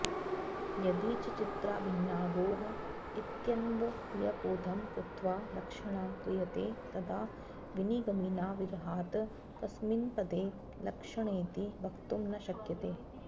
यदि च चित्राभिन्नागौः इत्यन्वयबोधं कृत्वा लक्षणा क्रियते तदा विनिगमिनाविरहात् कस्मिन्पदे लक्षणेति वक्तुं न शक्यते